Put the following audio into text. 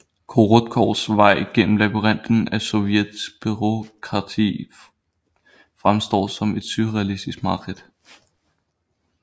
Korotkovs vej gennem labyrinten af sovjetisk bureaukrati fremstår som et surrealistisk mareridt